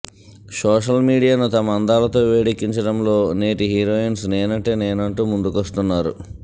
social మీడియాను తమ అందాలతో వేడెక్కించడంలో నేటి హీరోయిన్స్ నేనంటే నేను అంటూ ముందుకొస్తున్నారు